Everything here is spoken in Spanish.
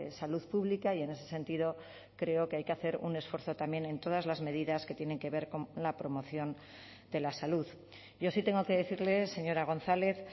salud pública y en ese sentido creo que hay que hacer un esfuerzo también en todas las medidas que tienen que ver con la promoción de la salud yo sí tengo que decirle señora gonzález